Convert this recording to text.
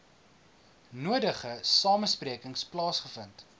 nodige samesprekings plaasgevind